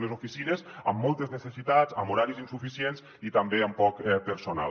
unes oficines amb moltes necessitats amb horaris insuficients i també amb poc personal